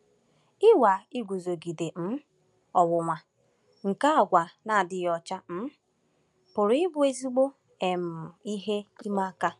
Ịnwa iguzogide um ọnwụnwa nke àgwà na-adịghị ọcha um pụrụ ịbụ ezigbo um ihe ịma aka.